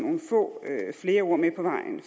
flere ord med på vejen